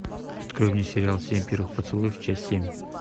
открой мне сериал семь первых поцелуев часть семь